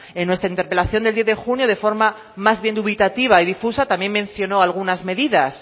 en nuestra interpelación del diez de junio de forma más bien dubitativa y difusa también mencionó algunas medidas